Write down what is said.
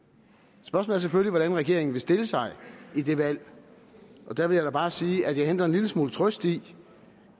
spørgsmålet er selvfølgelig hvordan regeringen vil stille sig i det valg og der vil jeg da bare sige at jeg henter en lille smule trøst i